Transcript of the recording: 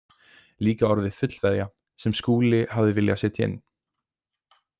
Líka orðið fullveðja sem Skúli hafði viljað setja inn.